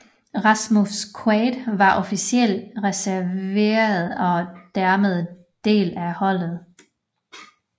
Rasmus Quaade var officiel reserverytter og dermed del af holdet